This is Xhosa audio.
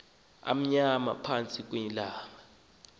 amnyama phantsi kweenyawo